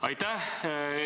Aitäh!